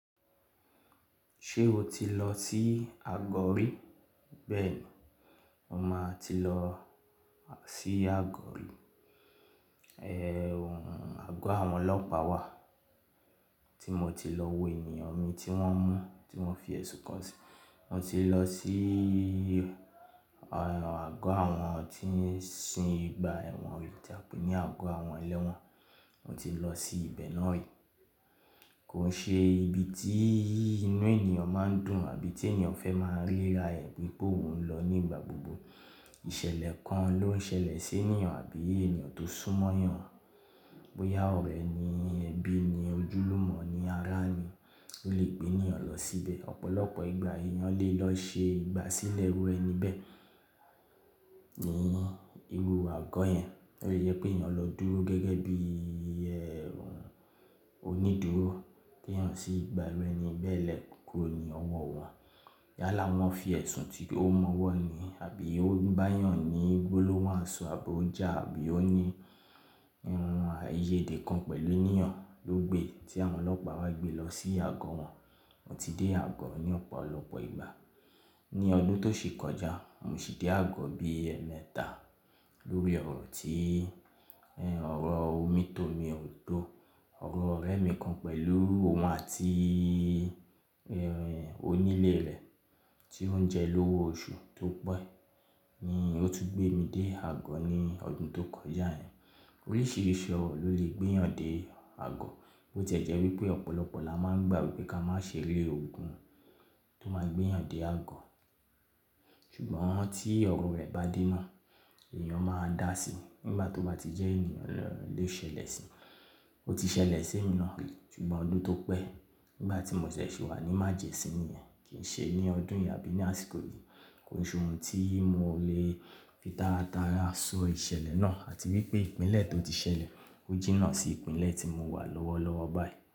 Ṣé o ti lọ sí àgọ̀ rí? Bẹ́ẹ̀ni, mo máa ti lọ sí àgọ̀ rí. Àgọ́ àwọn ọlọ́pàá wà tí mo ti lọ wo ènìyàn mi tí wọ́n mú, tí wọ́n fi ẹ̀sùn kan sí. Mo ti lọ sí àgọ́ àwọn tí ń sin ìgbà ẹ̀wọ̀n tí à ńpè ní àgọ́ àwọn ẹlẹ́wọ̀n. Mo ti lọ sí ibẹ̀ náà rí. Kò ṣe ibi tí inú ènìyàn máa ń dùn àbí tí ènìyàn fẹ́ máa ń léra ẹ̀ nígbà gbogbo. Ìṣẹ̀lẹ̀ kan ló ń ṣẹlẹ̀ sí ènìyàn àbí ènìyàn tó súnmọ́ ènìyàn. Bóyá ọ̀rẹ́ ni, ẹbí ni, ojúlùmọ̀ ni, ará ni o lè gbé ènìyàn lọ síbẹ̀. Ọ̀pọ̀lọpọ̀ ìgbà ènìyàn lè lọ ṣe ìgbà sílẹ̀ irú ẹni bẹ́ẹ̀, ní irú àgọ́ yẹn. Ó lé jẹ pé ènìyàn lọ dúró gẹ́gẹ́ bí onídúró, pé ènìyàn sì gba irúẹ́ni bẹ́ẹ̀ lẹ́kùkú ni ọwọ́ wọn. Yálà wọ́n fi ẹ̀sùn tí ó mọ́wọ́ ni àbí ó bá ènìyàn ní gbólóhùn asọ àbí ó jà àbí ó ní irun ààyè dé kan pẹ̀lú ènìyàn ló gbé tí àwọn ọlọ́pàá wa gbé lọ sí àgọ́ wọn. Mo ti dé àgọ́ ní ọ̀pọ̀lọpọ̀ ìgbà. Ní ọdún tó sì kọjá, mo sì dé àgọ́ bí ẹ̀mẹ́ta lórí ọ̀rọ̀ tí ọ̀rọ̀ omi tó mi ò tó. Ọ̀rọ̀ ọ̀rẹ́ mi kan pẹ̀lú òun àti onílé rẹ̀ tí ó ń jẹ lówo oṣù tó pẹ́ ni ó tún gbé mi dé àgọ́ ní ọdún tó kọjá yẹn. Oríṣìíríṣìí ọ̀rọ̀ ló lè gbé ènìyàn dé àgọ́, bó ti jẹ́ wípé ọ̀pọ̀lọpọ̀ là má ń gbà wípé ká má ṣe rí ogun tó máa gbé ènìyàn dé àgọ́. Ṣùgbọ́n tí ọ̀rọ̀ rẹ̀ bá dé náà, ènìyàn máa dà si nígbà tó bá ti jẹ́ ènìyàn lo ṣẹlẹ̀ sí i. Ó ti ṣẹlẹ̀ sí mi náà, ṣùgbọ́n ọdún tó pẹ́ nígbà tí mo tiẹ̀ ṣẹ̀ wà ní májẹ̀mú sí nìyen, kì í ṣe ní ọdún yìí àbí ní àsìkò yìí. Kò sí ohun tí mo lè fi taratara sọ ìṣẹ̀lẹ̀ náà àti wípé ìpínlẹ̀ tó ti ṣẹlẹ̀ ó jína sí ìpínlẹ̀ tí mo wà lọ́wọ́lọ́wọ́ báyìí.